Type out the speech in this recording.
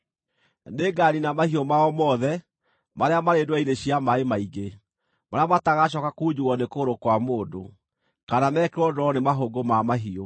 Nĩnganiina mahiũ mao mothe marĩa marĩ ndwere-inĩ cia maaĩ maingĩ, marĩa matagacooka kunjugwo nĩ kũgũrũ kwa mũndũ, kana mekĩrwo ndooro nĩ mahũngũ ma mahiũ.